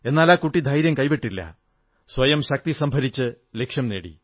എന്നാൽ ആ കുട്ടി ധൈര്യം കൈവിട്ടില്ല സ്വയം ശക്തി സംഭരിച്ച് ലക്ഷ്യം നേടി